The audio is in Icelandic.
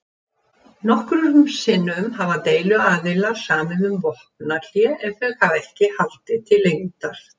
Nokkrum sinnum hafa deiluaðilar samið um vopnahlé en þau hafa ekki haldið til lengdar.